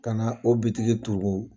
Kana o bitigi tugu